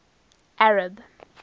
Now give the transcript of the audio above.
arab